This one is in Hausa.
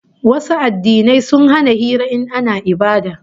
Wasu addinai sun hana hira in ana ibada